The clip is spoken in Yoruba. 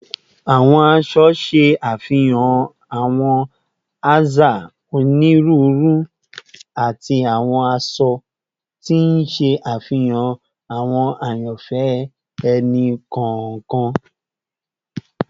Awọn aṣọ ṣe afihan awọn aza oniruuru ati awọn aṣọ, ti n ṣe afihan awọn ayanfẹ ẹni kọọkan